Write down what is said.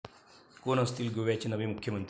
कोण असतील गोव्याचे नवे मुख्यमंत्री?